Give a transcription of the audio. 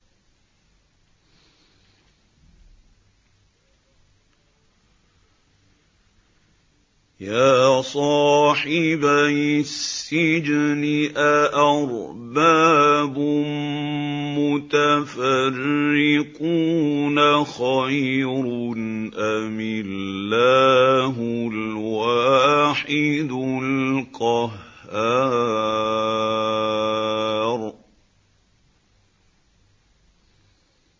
يَا صَاحِبَيِ السِّجْنِ أَأَرْبَابٌ مُّتَفَرِّقُونَ خَيْرٌ أَمِ اللَّهُ الْوَاحِدُ الْقَهَّارُ